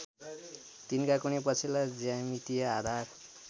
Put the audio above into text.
तिनका कुनै पछिल्ला ज्यामितीय आधार